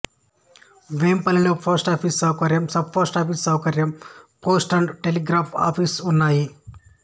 వేంపల్లెలో post office సౌకర్యం sub post office సౌకర్యం post and telegraph office ఉన్నాయి